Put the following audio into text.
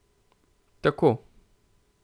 Tako.